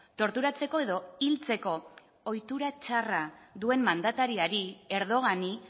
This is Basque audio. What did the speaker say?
torturatzeko edo hiltzeko ohitura txarra duen mandatariari erdogani